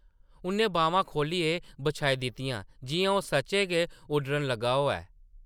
उʼन्नै बाह्मां खोह्लियै बछाई दित्तियां जिʼयां ओह् सच्चें गै उड्डन लगा होऐ ।